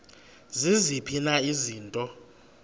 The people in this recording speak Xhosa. ziziphi na izinto